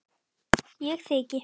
Ég þyki.